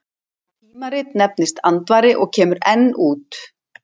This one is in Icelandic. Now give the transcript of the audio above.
Það tímarit nefndist Andvari og kemur enn út.